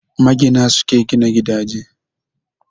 Magina, su ke gina gidaje.